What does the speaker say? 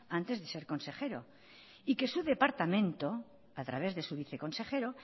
antes de ser consejero y que su departamento a través de su viceconsejero